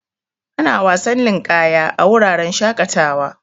Ana wasan ninƙaya a wuraren shaƙatawa.